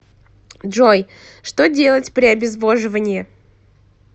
джой что делать при обезвоживании